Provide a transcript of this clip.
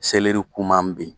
Selɛri koman bɛ yen.